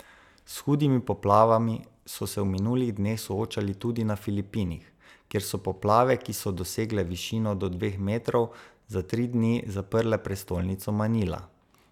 S hudimi poplavami so se v minulih dneh soočali tudi na Filipinih, kjer so poplave, ki so dosegle višino do dveh metrov, za tri dni zaprle prestolnico Manila.